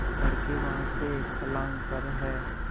लड़के वहाँ से एक फर्लांग पर हैं